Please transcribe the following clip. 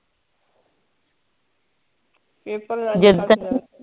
paper ਦੇਨ ਜਦ ਤਕ